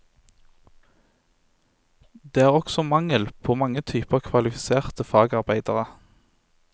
Det er også mangel på mange typer kvalifiserte fagarbeidere.